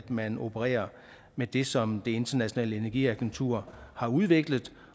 man opererer med det som det internationale energiagentur har udviklet